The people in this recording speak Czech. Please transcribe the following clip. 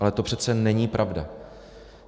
Ale to přece není pravda.